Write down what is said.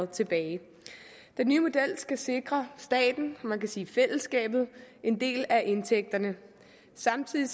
tilbage den nye model skal sikre staten man kan sige fællesskabet en del af indtægterne og samtidig